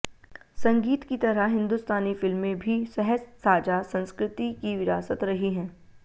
संगीत की तरह हिंदुस्तानी फिल्में भी सहज साझा संस्कृति की विरासत रही हैं